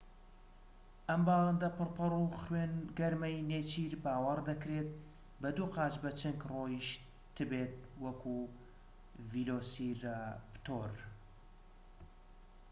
ئەم باڵندە پڕ پەڕ و خوێن گەرمەی نێچیر باوەڕ دەکرێت بە دوو قاچ بە چنگ ڕۆیشت بێت وەک ڤیلۆسیراپتۆر